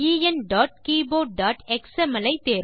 enkeyboardஎக்ஸ்எம்எல்